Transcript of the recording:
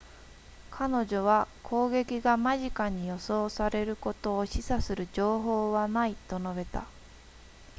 彼女は攻撃が間近に予想されることを示唆する情報はないと述べた